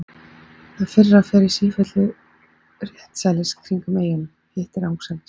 Það fyrra fer í sífellu réttsælis kringum eyjuna, hitt rangsælis.